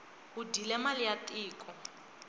u dyile mali ya tiko